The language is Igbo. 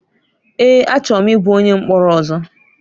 Èé! Achọrọ m ịbụ onye mkpọrọ ọzọ.